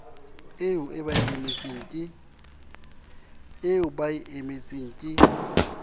eo ba e emetseng ke